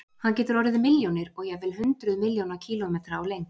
Hann getur orðið milljónir og jafnvel hundruð milljóna kílómetra á lengd.